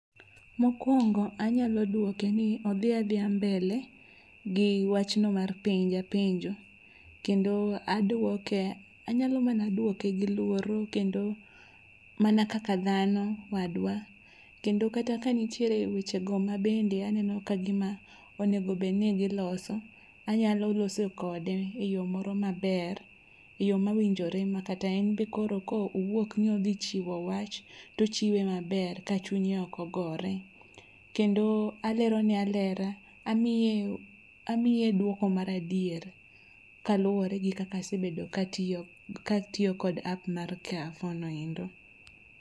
Mokwongo anyalo dwoke ni odhi adhiya mbele gi wachno mar penja penjo. Kendo adwoke anyalo mana dwoke gi luoro kendo mana kaka dhano wadwa. Kendo kata ka nitiere weche go ma bende aneno ka gima onego bedni giloso, anyalo loso kode e yo maber. Eyo ma winjore ma kata en be ko owuok ni odhi chiwo wach, tochiwe maber ka chunya okogore. Kendo alerone alera, amiye amiye dwoko maradier kaluwore gi kaka asebedo katiyo katiyo kod app mar Carrefour noendo.